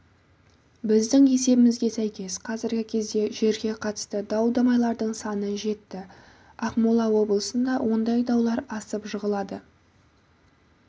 біздің есебімізге сәйкес қазіргі кезде жерге қатысты дау-дамайдардың саны жетті ақмола облысында ондай даулар асып жығылады